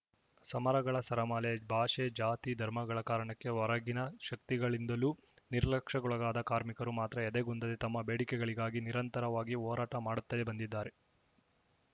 ಸಮರಗಳ ಸರಮಾಲೆ ಭಾಷೆ ಜಾತಿ ಧರ್ಮಗಳ ಕಾರಣಕ್ಕೆ ಹೊರಗಿನ ಶಕ್ತಿಗಳಿಂದಲೂ ನಿರ್ಲಕ್ಷಕ್ಕೊಳಗಾದ್ದ ಕಾರ್ಮಿಕರು ಮಾತ್ರ ಎದೆಗುಂದದೆ ತಮ್ಮ ಬೇಡಿಕೆಗಳಿಗಾಗಿ ನಿರಂತರವಾಗಿ ಹೋರಾಟ ಮಾಡುತ್ತಲೇ ಬಂದಿದ್ದಾರೆ